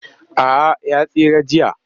A'a ya tsira jiya